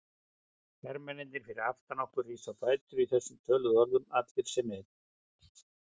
Hermennirnir fyrir aftan okkur risu á fætur í þessum töluðum orðum, allir sem einn.